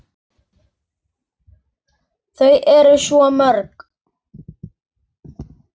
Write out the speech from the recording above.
Þau eru svo mörg.